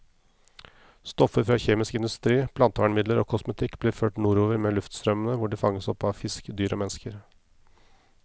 Stoffer fra kjemisk industri, plantevernmidler og kosmetikk blir ført nordover med luftstrømmene, hvor de fanges opp av fisk, dyr og mennesker.